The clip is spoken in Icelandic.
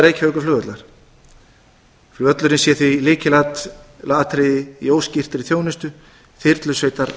reykjavíkurflugvallar flugvöllurinn sé því lykilatriði í óskyldri þjónustu þyrlusveitar